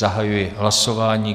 Zahajuji hlasování.